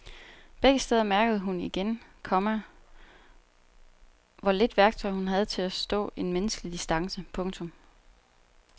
Begge steder mærkede hun igen, komma hvor lidt værktøj hun havde til at stå en menneskelig distance. punktum